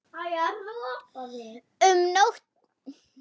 Um nóttina þegar hann kom.